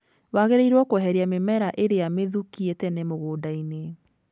Wagĩrĩrwo kũeheria mĩmera ĩrĩa mĩthũkie tene mũgũnda-inĩ.